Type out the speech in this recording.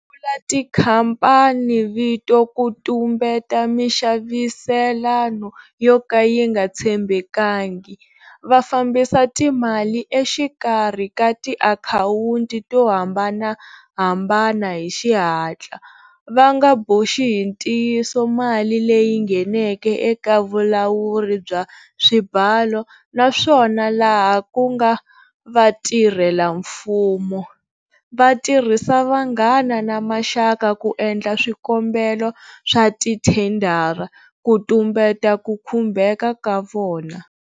Sungula tikhamphanivito ku tumbeta mixaviselano yo ka yi nga tshembekangi, va fambisa timali exikarhi ka tiakhawunti to hambanahambana hi xihatla, va nga boxi hi ntiyiso mali leyi ngheneke eka vulawuri bya swibalo, naswona, laha ku nga vatirhelamfumo, va tirhisa vanghana na maxaka ku endla swikombelo swa tithendara ku tumbeta ku khumbeka ka vona.